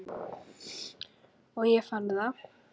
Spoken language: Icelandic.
Og ég fann það.